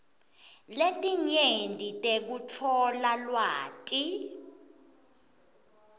letinyenti tekutfola lwati